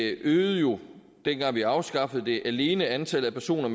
øgede jo dengang vi afskaffede det alene antallet af personer